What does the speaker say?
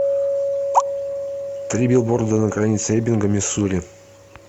три билборда на границе эббинга миссури